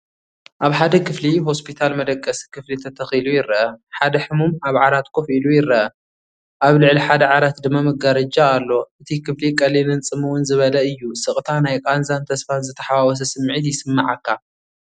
ኣብ ሓደ ክፍሊ ሆስፒታል መደቀሲ ክፍሊ ተተኺሉ ይርአ። ሓደ ሕሙም ኣብ ሓደ ዓራት ኮፍ ኢሉ ይረአ፡ ኣብ ልዕሊ ሓደ ዓራት ድማ መጋረጃ ኣሎ። እቲ ክፍሊ ቀሊልን ጽምው ዝበለን እዩ። ስቕታ፡ ናይ ቃንዛን ተስፋን ዝተሓዋወሰ ስምዒት ይስምዓካ።